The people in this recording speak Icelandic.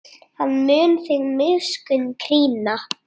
Hann mun þig miskunn krýna.